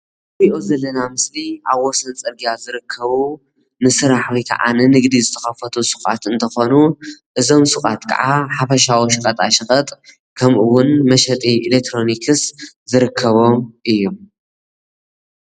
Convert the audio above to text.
እዚ ምስሊ ሓፈሻዊ ሸቀጣሸቀጥን ውፅኢት ፈጠራ ዝሽየጠሎም እዩ።